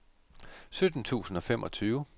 sytten tusind og femogtyve